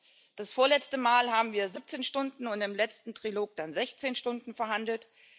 Gut das vorletzte Mal haben wir 17 Stunden und im letzten Trilog dann 16 Stunden verhandelt.